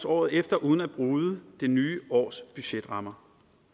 året efter uden at bryde det nye års budgetrammer